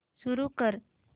सुरू कर